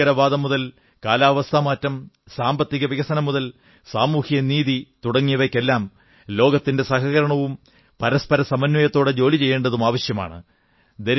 ഭീകരവാദം മുതൽ കാലാവസ്ഥാ മാറ്റം സാമ്പത്തിക വികസനം മുതൽ സാമൂഹിക നീതി തുടങ്ങിയവയ്ക്കെല്ലാം ലോകത്തിന്റെ സഹകരണവും പരസ്പര സമന്വയത്തോടെ ജോലി ചെയ്യേണ്ടതും ആവശ്യമാണ്